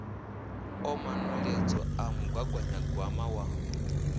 o manweledzo a mugaganyagwama wa